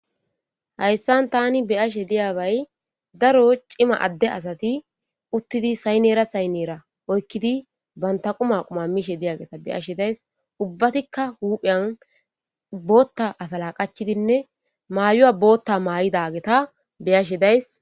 hayssan tani beyashe diyabay daro cima adde asati uttidi saynera saynera oykkidi banta quma quma miishe diyageta beyashe days ubbatikka hupheyan bootta afala qachidinne maayuya bootta maa7idageta beyashe days